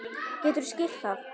Geturðu skýrt það?